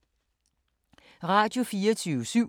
Radio24syv